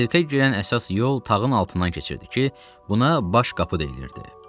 Sirkə girən əsas yol tağın altından keçirdi ki, buna baş qapı deyilirdi.